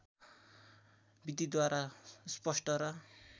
विधिद्वारा स्पष्ट र